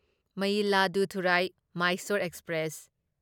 Mayiladuthurai Mysore express